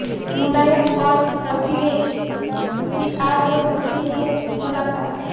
मुलायम और अखिलेश की आज हो सकती है मुलाकात